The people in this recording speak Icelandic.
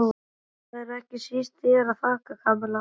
Og það er ekki síst þér að þakka, Kamilla.